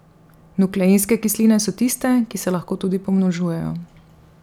Nukleinske kisline so tiste, ki se lahko tudi pomnožujejo.